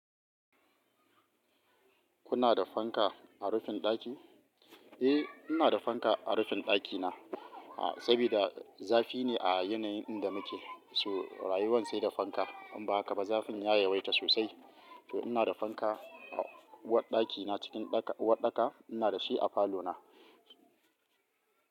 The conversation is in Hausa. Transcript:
Kuna da fanka a rufin ɗaki? Eh, ina da fanka a rufin ɗakina, sabida zafi ne a yanayin inda muke, so rayuwan sai da fanka. In ba haka ba, zafin ya yawaita sosai. To ina da fanka a uwarɗakina cikin uwaɗɗaka, ina da shi a falona.